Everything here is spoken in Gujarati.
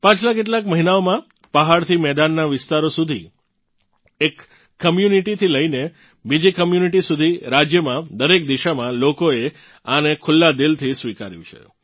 પાછલા કેટલાક મહિનાઓમાં પહાડથી મેદાનનાં વિસ્તારો સુધી એક Communityથી લઇને બીજી કોમ્યુનિટી સુધી રાજ્યમાં દરેક દિશામાં લોકોએ આને ખુલ્લા દિલથી સ્વીકાર્યું છે